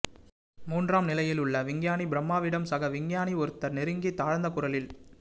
மூன்றாம் நிலையிலுள்ள விஞ்ஞானி பிரம்மாவிடம் சக விஞ்ஞானி ஒருத்தர் நெருங்கி தாழ்ந்த குரலில்